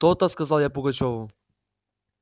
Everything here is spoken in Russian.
то-то сказал я пугачёву